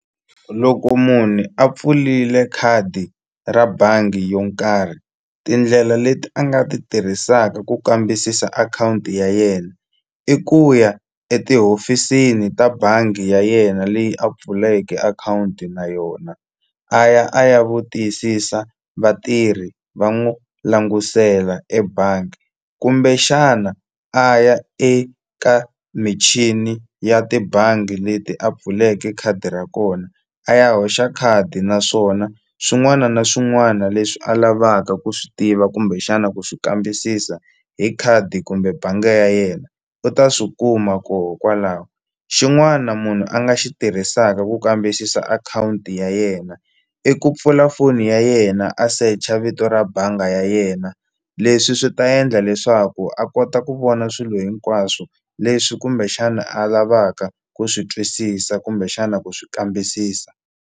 Loko munhu a pfulile khadi ra bangi yo karhi tindlela leti a nga ti tirhisaka ku kambisisa akhawunti ya yena i ku ya etihofisini ta bangi ya yena leyi a pfulekeke akhawunti na yona a ya a ya vu tiyisisa vatirhi va n'wu languselaka ebangi kumbexana a ya eka michini ya tibangi leti a pfuleke khadi ra kona a ya hoxa khadi naswona swin'wana na swin'wana leswi a lavaka ku swi tiva kumbexana ku xi kambisisa hi khadi kumbe bangi ya yena u ta swi kuma koho kwalaho xin'wana munhu a nga xi tirhisaka ku kambisisa akhawunti ya yena i ku pfula foni ya yena a search-a vito ra banga ya yena leswi swi ta endla leswaku a kota ku vona swilo hinkwaswo leswi kumbexana a lavaka ku swi twisisa kumbexana ku swi kambisisa.